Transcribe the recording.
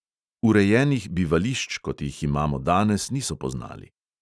Urejenih bivališč, kot jih imamo danes, niso poznali.